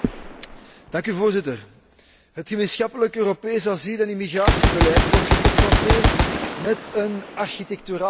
Voorzitter, het gemeenschappelijk Europees asiel en immigratiebeleid wordt geconfronteerd met een architecturaal probleem.